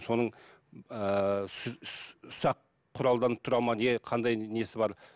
соның ііі ұсақ құралдан тұра ма не қандай несі бар